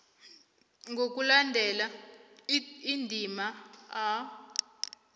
ngokulandela indima a